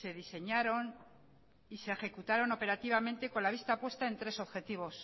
se diseñaron y se ejecutaron operativamente con la vista puesta en tres objetivos